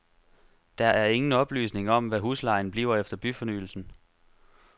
Der er ingen oplysning om, hvad huslejen bliver efter byfornyelsen.